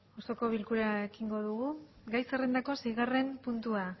osoko bilkura ekingo dugu gai zerrendako seigarren puntua